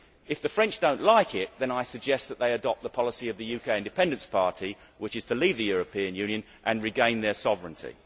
If the French do not like it, then I suggest that they adopt the policy of the UK Independence Party, which is to leave the European Union and regain their sovereignty.